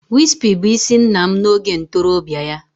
Wispy bụ isi nna m n'oge ntorobịa ya